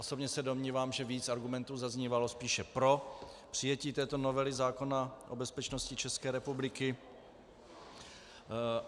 Osobně se domnívám, že víc argumentů zaznívalo spíše pro přijetí této novely zákona o bezpečnosti České republiky.